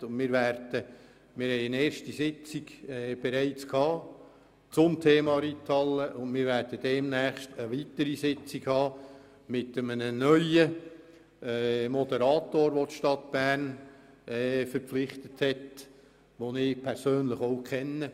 Wir hatten bereits eine erste Sitzung zum Thema Reithalle, und demnächst ist eine weitere mit einem neuen Moderator vorgesehen, den die Stadt Bern verpflichtet hat und den ich persönlich kenne.